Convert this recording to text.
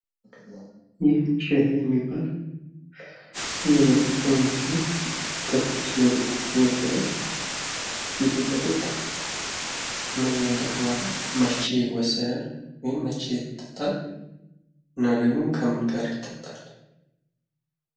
ይህ ሻይ የሚባል የመጠጥ አይነት ሲሆን ከትኩስ መጠጦች የሚመደብ ሲሆን ይህ መጠጥ ምን ምን ጥቅም አለው? መቼ ይወሰዳል? ወይም ደግሞ መቼ ይጠጣል? እና ደግሞ ከምን ጋር ይጠጣል?